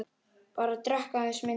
Bara drekka aðeins minna.